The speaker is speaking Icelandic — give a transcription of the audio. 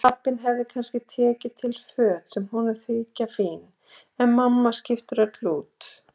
Pabbinn hefur kannski tekið til föt sem honum þykja fín, en mamma skiptir öllu út.